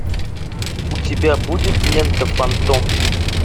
у тебя будет лента фантом